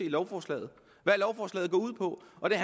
i lovforslaget hvad lovforslaget går ud på og det